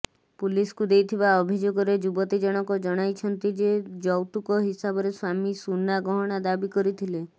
ପୁଲିସକୁ ଦେଇଥିବା ଅଭିଯୋଗରେ ଯୁବତୀଜଣକ ଜଣାଇଛନ୍ତି ଯେ ଯୌତୁକ ହିସାବରେ ସ୍ୱାମୀ ସୁନା ଗହଣା ଦାବି କରିଥିଲେ